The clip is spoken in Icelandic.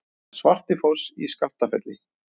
Svartifoss í Skaftafelli.